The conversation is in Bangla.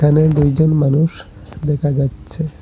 এখানে দুইজন মানুষ দেখা যাচ্চে ।